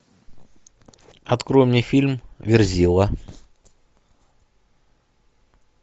открой мне фильм верзила